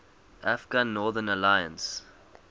afghan northern alliance